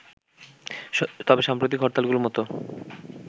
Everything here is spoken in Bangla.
তবে সাম্প্রতিক হরতালগুলোর মতো